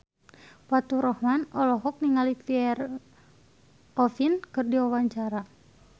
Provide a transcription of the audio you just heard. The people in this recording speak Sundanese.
Faturrahman olohok ningali Pierre Coffin keur diwawancara